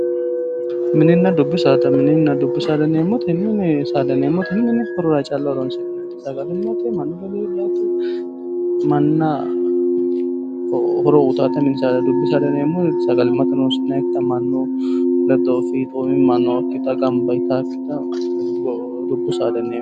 Mininna dubbu saada, mininna dubbu saada yineemohu mini saada yineemoti mini horora calla horooni'neemote, sagalimatte mannu ledo heedhaate manaho horo uyiitata mini saada yineemo. dubbu saada yineemoti sagalimatte horonsi'nayiikitta manu ledo fiixomima nookitta, ganba yitaakitta dubbu saada yineemo.